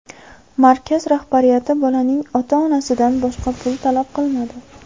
Markaz rahbariyati bolaning ota-onasidan boshqa pul talab qilmadi.